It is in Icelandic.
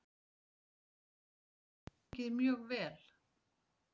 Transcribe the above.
Veiðin hefur gengið mjög vel